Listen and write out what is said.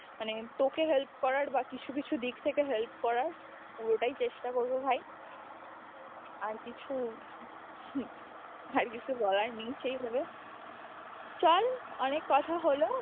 মানে তোকে help করার বা কিছু কিছু দিক থেকে help করার পুরোটাই চেষ্টা করবো ভাই আর কিছু হম আর কিছু বলার নেই সেই ভাবে, চল অনেক কথা হলো।